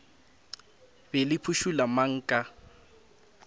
be le phušula mang ka